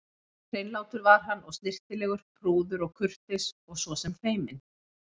Hreinlátur var hann og snyrtilegur, prúður og kurteis og svo sem feiminn.